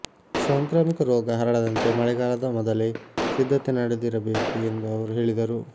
ಸಾಂಕ್ರಾಮಿಕ ರೋಗ ಹರಡದಂತೆ ಮಳೆಗಾಲದ ಮೊದಲೇ ಸಿದ್ಧತೆ ನಡೆದಿರಬೇಕು ಎಂದು ಅವರು ಹೇಳಿದರು